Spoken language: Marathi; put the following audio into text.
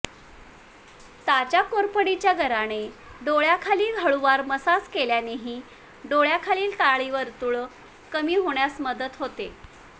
ताज्या कोरफडीच्या गराने डोळ्यांखाली हळूवार मसाज केल्यानेही डोळ्यांखालील काळी वर्तुळ कमी होण्यास मदत होते